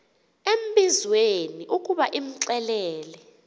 embizweni ukuba imxelele